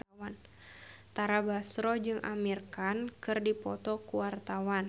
Tara Basro jeung Amir Khan keur dipoto ku wartawan